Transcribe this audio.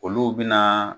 Olu bɛna